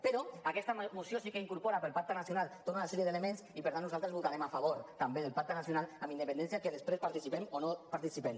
però aquesta moció sí que incorpora per al pacte nacional tota una sèrie d’elements i per tant nosaltres votarem a favor també del pacte nacional amb independència de si després hi participem o no hi participem